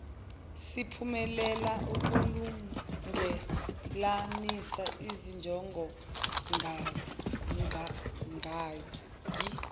siphumelela ukulungelanisa izinjongongqangi